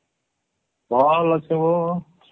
ଭଲ ଅଛେ ଗୋ